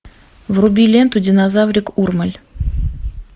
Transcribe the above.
вруби ленту динозаврик урмель